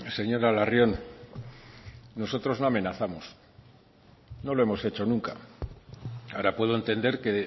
señora larrion nosotros no amenazamos no lo hemos hecho nunca ahora puedo entender que